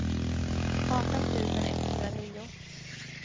arton tusen etthundranio